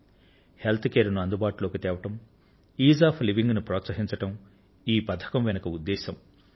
ఆరోగ్య సంరక్షణ ను అందుబాటులోకి తేవడం జీవన సారళ్యతను ప్రోత్సహించడం ఈ పథకం వెనుక ఉద్దేశం